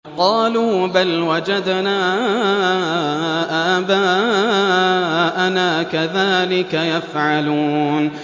قَالُوا بَلْ وَجَدْنَا آبَاءَنَا كَذَٰلِكَ يَفْعَلُونَ